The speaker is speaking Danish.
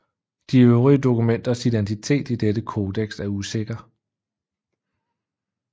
De øvrige dokumenters identitet i dette codex er usikker